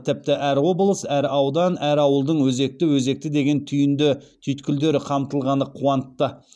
тіпті әр облыс әр аудан әр ауылдың өзекті өзекті деген түйінді түйткілдері қамтылғаны қуантты